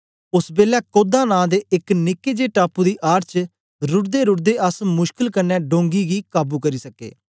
ओस बेलै कौदा नां दे एक निके जे टापू दी आड़ च रुडदेरुडदे अस मुशकल कन्ने डोंगी गी काबू करी सके